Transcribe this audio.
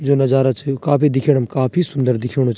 जो नजारा छ वो काफी दिखेणम काफी सुन्दर दिख्युणु च।